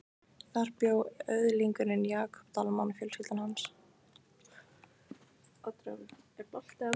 Þar bjó öðlingurinn Jakob Dalmann og fjölskylda hans.